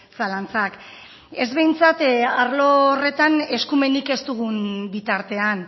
zalantzak ez behintzat arlo horretan eskumenik ez dugun bitartean